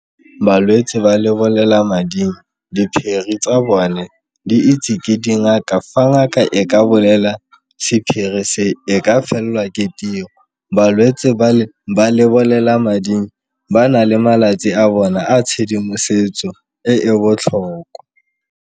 Balwetse ba lebolelamading diphiri tsa bone di itse ke dingaka, fa ngaka e ka bolela sephiri se e ka felwa ke tiro. Balwetse ba ba lebolelamading ba na le malatsi a bona a tshedimosetso e e botlhokwa.